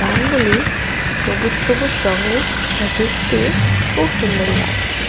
ধানগুলি সবুজ সবুজ রংয়ের যা দেখতে খুব সুন্দর লাগছে।